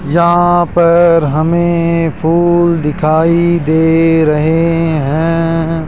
यहां पर हमें फूल दिखाई दे रहे हैं।